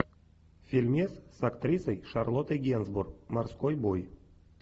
фильмец с актрисой шарлоттой генсбур морской бой